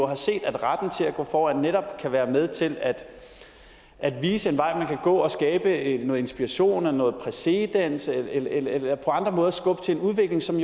har set at retten til at gå foran netop kan være med til at vise en vej man kan gå og skabe noget inspiration og noget præcedens eller på andre måder skubbe til en udvikling som